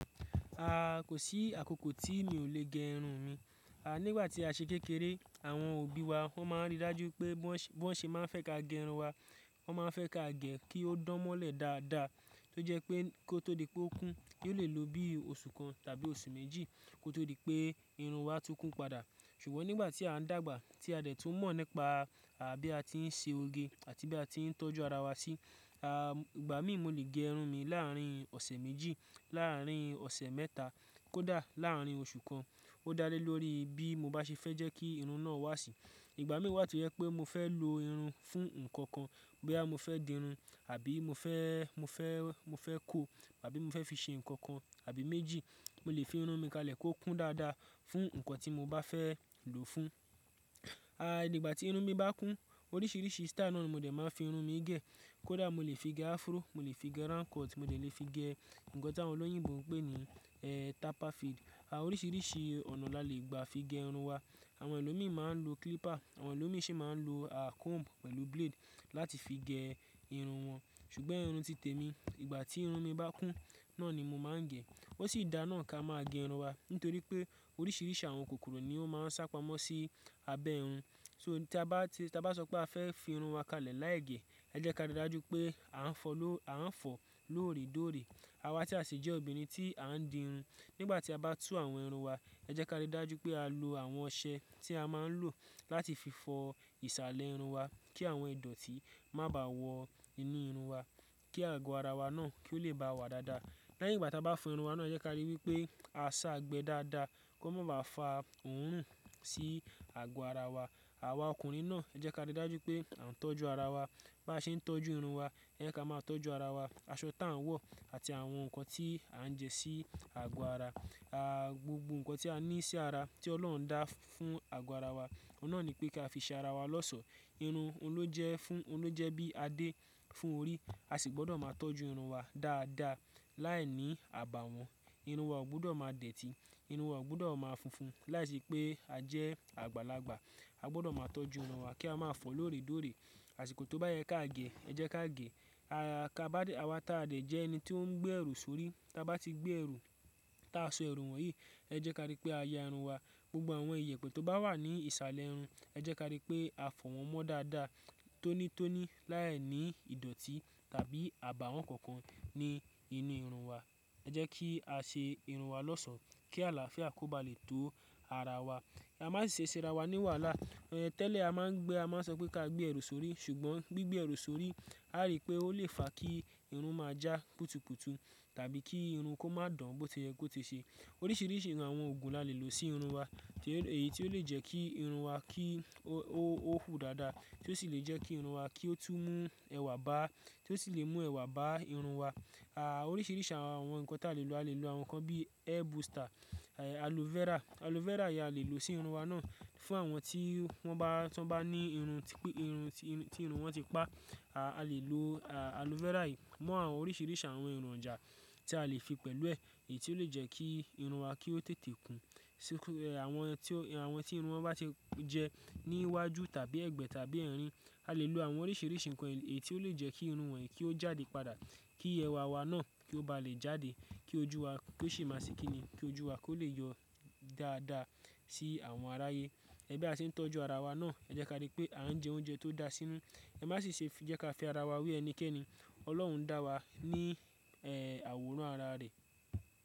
A, kò sí àkókò tí mi ò lè gé irun mi. A, nígbà tí a ṣe kékeré àwọn òbí wa wọ́n máa ń rí dájú pé bó ṣe máa fẹ́ ká gẹ irun wa, wọ́n máa fẹ́ ká gẹ kí ó dán mọ́lẹ̀ dáadáa, tó jẹ́ pé kó tó di pé ó kún, yóò lè lo bíi oṣù kan tàbí oṣù méjì kó tó di pé irun wa tún kún padà. Ṣùgbọ́n nígbà tí a ń dàgbà, tí a dẹ̀ tún mọ̀ nípa àbí a ti ń ṣe oge àti bí a ti ń tọ́jú ara wa sí, a, ìgbà mí mo lè gé irun mi láàárín ọ̀sẹ̀ méjì, láàárín ọ̀sẹ̀ mẹ́ta, kó dáà láàárín oṣù kan. Ó dálé lórí bí mo bá ṣe fẹ́ jẹ́ kí irun náà wà sí. Ìgbà mí wà tó jẹ́ pé mo fẹ́ lo irun fún nǹkan kan, bí a mo fẹ́ di irun àbí mo fẹ́, mo fẹ́, mo fẹ́ kò, àbí mo fẹ́ fi ṣe nǹkan kan àbí méjì, mo lè fi irun mi kalẹ̀ kó kún dáadáa fún nǹkan ti mo bá fẹ́ lò fún. A, nígbà tí irun mi bá kún, oríṣiríṣi style náà ni mo dẹ̀ máa ń fi irun mi gẹ̀. Kó dáà mo lè fi gẹ afro, mo lè fi gẹ round cut, mo dè lè fi gẹ nǹkan tí àwọn olóyìnbó ń pè ní, é, taphaid. A, oríṣiríṣi ọ̀nà la lè gba fi gẹ irun wa. Àwọn ẹlòmí máa ń lo clipper, àwọn ẹlòmí sì máa ń lo, á, comb pẹ̀lú blade láti fi gẹ irun wọn. Ṣùgbọ́n irun ti tẹ mi, ìgbà tí irun mi bá kún náà ni mo máa ń gẹ. Ó sì dá náà ká máa gẹ irun wa nítorí pé oríṣiríṣi àwọn kòkòrò ní ó máa ń sápamọ́ sí abẹ́ irun. So tí a bá, tí a bá sọ pé a fẹ́ fi irun wa kalẹ̀ láì gẹ̀, ẹ jẹ́ ká rí dájú pé à ń fọ, à ń fọ lóòrè kóòrè. Àwa tí a ṣi jẹ́ obìnrin tí a ń di irun, nígbà tí a bá tú àwọn irun wa, ẹ jẹ́ ká rí dájú pé a lo àwọn ọṣẹ tí a máa ń lò láti fi fọ ìsàlẹ̀ irun wa kí àwọn ìdọ̀tí má bà wọ inú irun wa, kí àgọ́ ara wa náà kí ó lè bá wa dáadáa. Lẹ́yìn ìgbà tí a bá fọ irun wa náà, ẹ jẹ́ ká rí pé a sá gbẹ dáadáa kó má bà fa òòrùn sí àgọ́ ara wa. Àwa ọkùnrin náà, ẹ jẹ́ ká rí dájú pé à ń tọ́jú ara wa. Bá ṣe ń tọ́jú irun wa, ẹ jẹ́ ká máa tọ́jú ara wa. Aṣọ tí à ń wọ àti àwọn nǹkan tí à ń jẹ sí àgọ́ ara. A, gbogbo nǹkan tí a ní sí ara tí Ọlọ́run dá fún àgọ́ ara wa, òun náà ni pé ká fi ṣe ara wa lọ́ṣọ. Irun òun lójẹ́ fún, olójẹ́ bí adé fún orí, a sì gbọdọ̀ máa tọ́jú irun wa dáadáa. Láìní àbàáwọn, irun wa ò gbọdọ̀ máa dẹ̀tí, irun wa ò gbọdọ̀ máa funfun. Láìsí pé a jẹ́ àgbàlagbà, a gbọdọ̀ máa tọ́jú irun wa kí a máa fọ̀ lóòrè dóòrè. Àsìkò tó bá yẹ ká gẹ̀, ẹ jẹ́ ká gè. A, ká bá, àwa táàdẹ́ jẹ́ ẹni tí ó ń gbé ẹrù sórí. Ta bá ti gbé ẹrù, tí a sọ ẹrù wọ̀nyí, ẹ jẹ́ ká rí pé a ya irun wa. Gbogbo àwọn ìyẹ̀pẹ̀ tó bá wà ní ìsàlẹ̀ irun, ẹ jẹ́ ká rí pé a fọ̀ wọ́n mọ́ dáadáa tónítóní láìní ìdọ̀tí tàbí àbàáwọn kankan ní inú irun wa. Ẹ jẹ́ kí a ṣe irun wa lọ́ṣọ̀ kí àlàáfíà kò bá lè tó ara wa. Ká má ṣi ṣe ra wa ní wàhálà. É, tẹ́lẹ̀ a máa ń gbé, a máa ń sọ pé ká gbé ẹrù sórí, ṣùgbọ́n gbígbé ẹrù sórí a rí pé ó lè fa kí irun máa já kùtùkùtù tàbí kí irun kó má dán bó tí ọ̀yẹ́ kó ti ṣe. Oríṣiríṣi àwọn oògùn la lè lò sí irun wa, èyí tí ó lè jẹ́ kí irun wa kí ó, ó hù dáadáa, tí ó sì lè jẹ́ kí irun wa kí ó tún mú ẹ̀wà bá, tí ó sì lè mú ẹ̀wà bá irun wa. A, oríṣiríṣi àwọn nǹkan ta lè lò, a lè lò àwọn nǹkan bíi hair booster, aloe vera. Aloe vera yìí a lè lò sí irun wa náà fún àwọn tí wọ́n bá, tí wọ́n bá ní irun tí, irun tí, irun wọn ti pá. A lè lò, á, aloe vera yìí mọ́ àwọn oríṣiríṣi àwọn èròjà tí a lè fi pẹ̀lú ẹ̀, èyí tí ó lè jẹ́ kí irun wa kí ó tètè kún. Àwọn tí, àwọn tí irun wọn bá ti jẹ ní iwájú tàbí ẹ̀gbẹ́ tàbí ẹ̀rín, a lè lò àwọn oríṣiri.